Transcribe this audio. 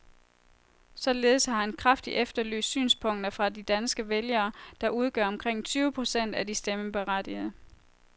Således har han kraftigt efterlyst synspunkter fra de danske vælgere, der udgør omkring tyve procent af de stemmeberettigede.